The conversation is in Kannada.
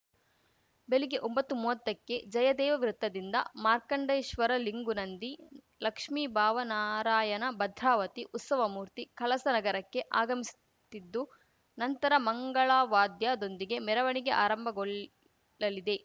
ಬೆಳಿಗ್ಗೆ ಒಂಬತ್ತು ಮೂವತ್ತಕ್ಕೆ ಜಯದೇವ ವೃತ್ತದಿಂದ ಮಾರ್ಕಂಡೇಶ್ವರ ಲಿಂಗು ನಂದಿ ಲಕ್ಷ್ಮೀ ಭಾವ ನಾರಾಯಣ ಭದ್ರಾವತಿ ಉತ್ಸವ ಮೂರ್ತಿ ಕಳಸ ನಗರಕ್ಕೆ ಆಗಮಿಸುತ್ತಿದ್ದು ನಂತರ ಮಂಗಳವಾದ್ಯದೊಂದಿಗೆ ಮೆರವಣಿಗೆ ಆರಂಭಗೊಳ್ಳಲಿದೆ